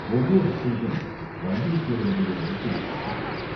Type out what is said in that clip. ஒவ்வோர் அசைவும் வந்தியத்தேவனுடைய நெஞ்சை அசைத்தது.